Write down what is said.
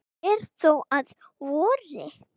fer þó að vori.